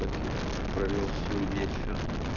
провёл свой вечер